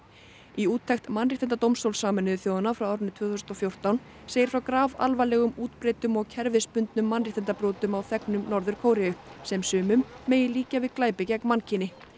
í úttekt mannréttindadómstóls Sameinuðu þjóðanna frá árinu tvö þúsund og fjórtán segir frá grafalvarlegum útbreiddum og kerfisbundnum mannréttindabrotum á þegnum Norður Kóreu sem sumum megi líkja við glæpi gegn mannkyni